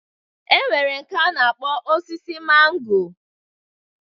E nwere nke a na-akpọ osisi mango.